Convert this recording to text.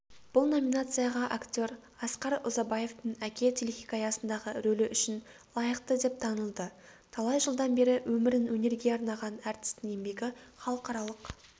бұл номинацияға актер асқар ұзабаевтың әке телехикаясындағы рөлі үшін лайықты деп танылды талай жылдан бері өмірін өнерге арнаған әртістің еңбегі халықаралық